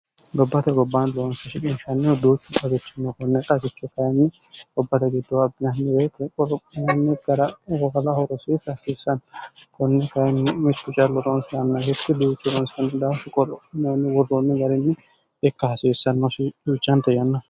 gobbate gobbaan boonsishibinshaannihu duuchi qaarichinne kunne qarichu kayinni gobbate giddohu abbinanmi beete oromanni garagofola horosiisiasiissanni kunne kayinni michi rucalloroonsianna hiti diyuchoroonsanni daafuqomonni gurroonni gariinni ikka hasiissannoshi duucaante yanno